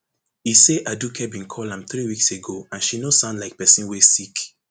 e say aduke bin call am three weeks ago and she no sound like pesin wey sick